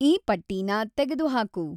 ಈ ಪಟ್ಟೀನ ತೆಗೆದುಹಾಕು